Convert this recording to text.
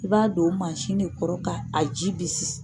I b'a don o mansin ne kɔrɔ ka a ji bisi.